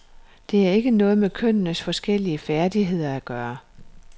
Det har ikke noget med kønnenes forskellige færdigheder at gøre.